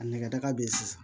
A nɛgɛ daga bɛ yen sisan